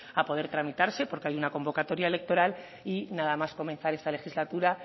a poder tramitarse porque hay una convocatoria electoral y nada más comenzar esta legislatura